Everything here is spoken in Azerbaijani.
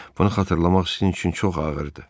Bunu xatırlamaq sizin üçün çox ağırdır.